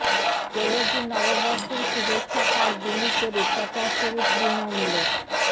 তেলুগু নববর্ষের শুভেচ্ছা কার্ড বিলি করে প্রচার শুরু তৃণমূলের